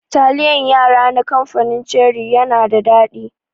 Taliyan yara na kamfanin ceri yana da daɗi.